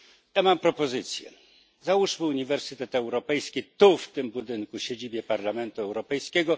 Ja mam propozycję, załóżmy Uniwersytet Europejski tu w tym budynku, w siedzibie Parlamentu Europejskiego.